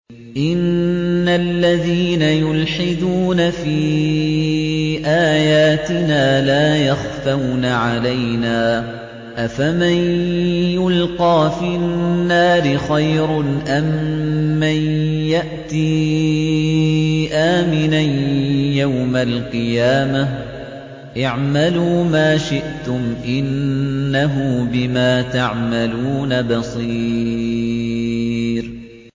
إِنَّ الَّذِينَ يُلْحِدُونَ فِي آيَاتِنَا لَا يَخْفَوْنَ عَلَيْنَا ۗ أَفَمَن يُلْقَىٰ فِي النَّارِ خَيْرٌ أَم مَّن يَأْتِي آمِنًا يَوْمَ الْقِيَامَةِ ۚ اعْمَلُوا مَا شِئْتُمْ ۖ إِنَّهُ بِمَا تَعْمَلُونَ بَصِيرٌ